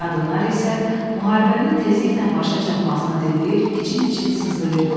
Qadınlar isə müharibənin tezliklə başa çatmasını diləyir, için-için sızlayırdılar.